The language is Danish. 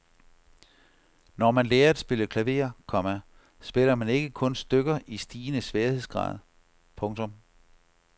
Når man lærer at spille klaver, komma spiller man ikke kun stykker i stigende sværhedsgrad. punktum